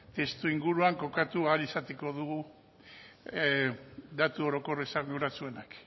testuinguruan kokatu ahal izango dugu datu orokor esanguratsuenak